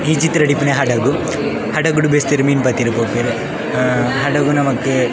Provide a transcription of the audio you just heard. ಈ ಚಿತ್ರಡ್ ಇಪ್ಪುನ ಹಡಗು ಹಡಗುಡ್ ಬೆಸ್ತೆರ್ ಮೀನ್ ಪತ್ತರೆ ಪೋಪೆರ್ ಹಡಗುಡ್ ನಮಕ್.